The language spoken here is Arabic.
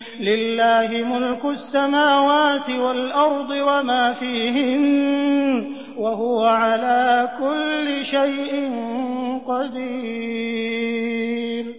لِلَّهِ مُلْكُ السَّمَاوَاتِ وَالْأَرْضِ وَمَا فِيهِنَّ ۚ وَهُوَ عَلَىٰ كُلِّ شَيْءٍ قَدِيرٌ